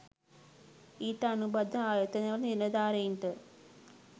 ඊට අනුබද්ධ ආයතනවල නිලධාරීන්ට